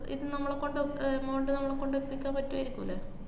ഇത് നമ്മളെ കൊണ്ട് ഏർ amount നമ്മളെ കൊണ്ടെത്തിക്കാൻ പറ്റുവായിരിക്കൂ ല്ലേ?